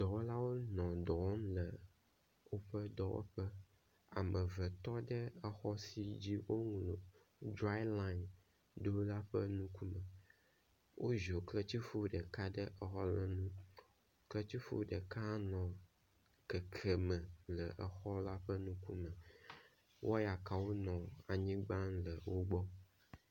Dɔwɔlawo le dɔ wɔm le woƒe dɔwɔƒe. Ame eve tɔ ɖe exɔ si dzi wowɔ drayi lani ɖo la ƒe nukume. Woziɔ ketrifu ɖeka ɖe exɔ la ŋu. ketrifu ɖeka hã nɔ kekeme le exɔ la ƒe ŋkume. Wɔyakawo nɔ anyigba le wo gbɔ.